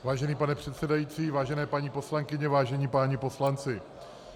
Vážený pane předsedající, vážené paní poslankyně, vážení páni poslanci -